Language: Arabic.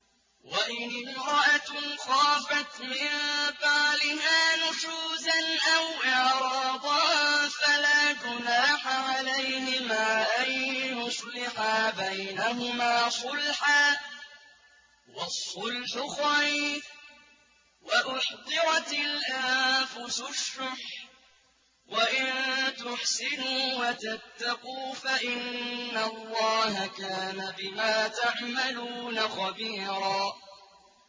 وَإِنِ امْرَأَةٌ خَافَتْ مِن بَعْلِهَا نُشُوزًا أَوْ إِعْرَاضًا فَلَا جُنَاحَ عَلَيْهِمَا أَن يُصْلِحَا بَيْنَهُمَا صُلْحًا ۚ وَالصُّلْحُ خَيْرٌ ۗ وَأُحْضِرَتِ الْأَنفُسُ الشُّحَّ ۚ وَإِن تُحْسِنُوا وَتَتَّقُوا فَإِنَّ اللَّهَ كَانَ بِمَا تَعْمَلُونَ خَبِيرًا